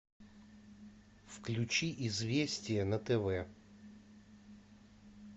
включи известия на тв